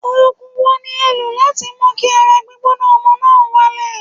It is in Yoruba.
Ògùn wo ni ẹ̀ ń lò láti mú kí ara gbígbóná ọmọ náà wálẹ̀?